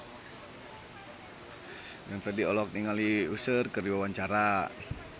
Glenn Fredly olohok ningali Usher keur diwawancara